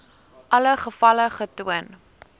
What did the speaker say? alle gevalle getoon